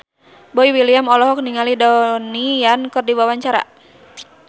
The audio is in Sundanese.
Boy William olohok ningali Donnie Yan keur diwawancara